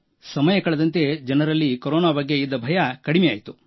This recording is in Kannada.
ಸಮಯ ಕಳೆದಂತೆ ಜನರಲ್ಲಿ ಕೊರೋನಾ ಬಗ್ಗೆ ಇದ್ದ ಭಯ ಕಡಿಮೆಯಾಯಿತು